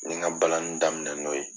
N ye n ka balani daminɛ n'o ye